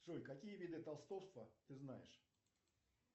джой какие виды толстовства ты знаешь